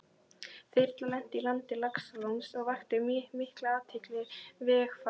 Þyrlan lenti í landi Laxalóns og vakti mikla athygli vegfarenda.